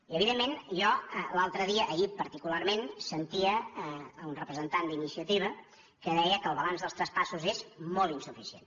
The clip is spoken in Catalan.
i evidentment jo l’altre dia ahir particularment sentia un representant d’iniciativa que deia que el balanç dels traspassos és molt insuficient